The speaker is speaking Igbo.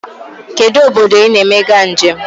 Kedụ obodo I na-emega njem?